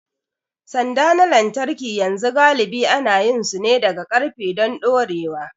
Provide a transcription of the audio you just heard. Sanda na lantarki yanzu galibi ana yin su ne daga ƙarfe don dorewa.